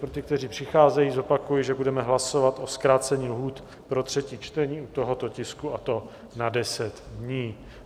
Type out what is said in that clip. Pro ty, kteří přicházejí, zopakuji, že budeme hlasovat o zkrácení lhůt pro třetí čtení u tohoto tisku, a to na 10 dní.